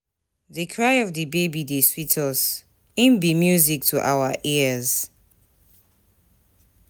Di cry of di baby dey sweet us, im be music to our ears.